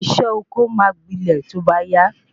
Isé oko máa gbilẹ to ba ya